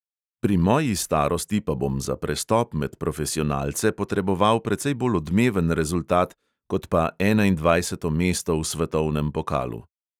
Pri moji starosti pa bom za prestop med profesionalce potreboval precej bolj odmeven rezultat kot pa enaindvajseto mesto v svetovnem pokalu.